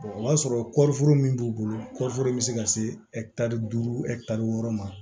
o b'a sɔrɔ kɔɔri foro min b'u bolo kɔriforo in bɛ se ka se duuru wɔɔrɔ ma